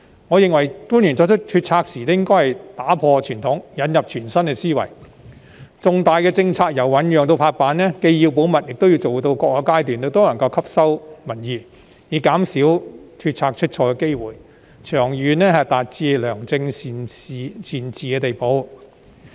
我認為官員作出決策時應打破傳統，引入全新思維，重大政策由醞釀至拍板，既要保密，也要做到各個階段都能夠吸納民意，以減少決策出錯的機會，長遠達致良政善治的地步。